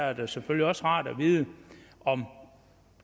er det selvfølgelig også rart at vide om